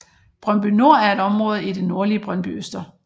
Brøndby Nord er et område i det nordlige Brøndbyøster